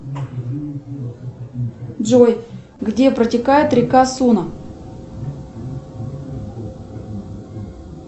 джой где протекает река суна